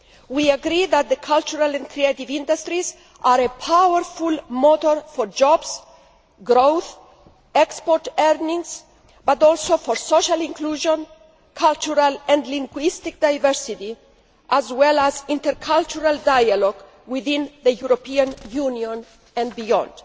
We agree that the cultural and creative industries are a powerful motor not only for jobs, growth and export earnings, but also for social inclusion and cultural and linguistic diversity, as well as intercultural dialogue within the European Union and beyond.